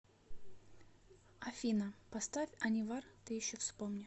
афина поставь анивар ты еще вспомни